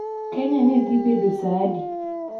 Kenya ne dhi bedo saa adi